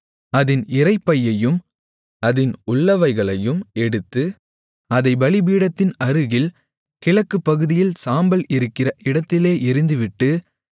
அதின் இரைப்பையையும் அதின் உள்ளவைகளையும் எடுத்து அதைப் பலிபீடத்தின் அருகில் கிழக்குப் பகுதியில் சாம்பல் இருக்கிற இடத்திலே எறிந்துவிட்டு